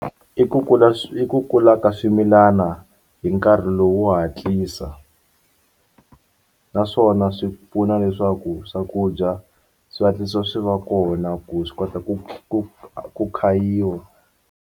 I ku kula i ku kula ka swimilana hi nkarhi lowu wo hatlisa naswona swi pfuna leswaku swakudya swi hatlisa swi va kona ku swi kota ku ku ku khayiwa.